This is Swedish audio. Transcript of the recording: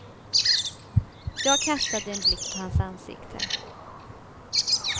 Jag kastade en blick på hans ansikte.